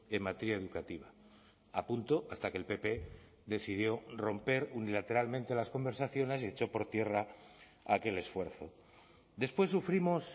en materia educativa a punto hasta que el pp decidió romper unilateralmente las conversaciones y echó por tierra aquel esfuerzo después sufrimos